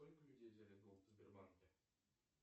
сколько людей взяли в долг в сбербанке